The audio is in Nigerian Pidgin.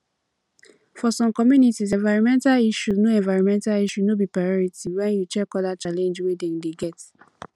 for some communities environmental issue no environmental issue no be priority when you check oda challenge wey dem dey get